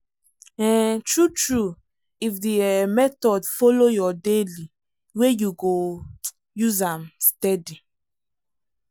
um true true if the um method follow your daily way you go um use am steady.